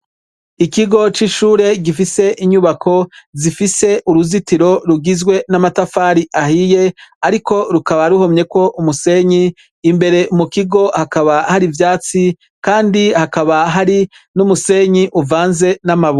Ikigo c'ishure gifise inyubako zifise uruzitiro rugizwe namatafari ahiye ariko rukaba ruhomyeko umusenyi, imbere mukigo hakaba har'ivyitsi kandi hakaba hari numusenyi uvaze namabuye.